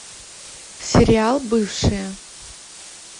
сериал бывшая